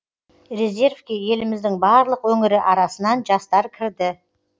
резервке еліміздің барлық өңірі арасынан жастар кірді